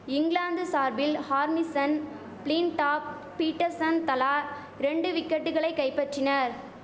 இங்கிலாந்து சார்பில் Harmison Flintoff Pietersen தலா ரெண்டு விக்கெட்டுகளை கைப்பற்றினர்